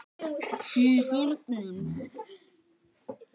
SÉR HORNIN.